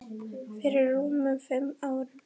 Fyrir rúmum fimm árum.